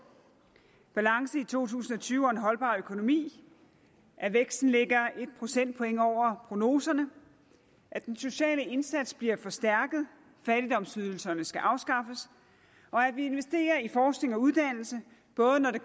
balance i to tusind og tyve og en holdbar økonomi at væksten ligger en procentpoint over prognoserne at den sociale indsats bliver forstærket fattigdomsydelserne skal afskaffes og at vi investerer i forskning og uddannelse både når det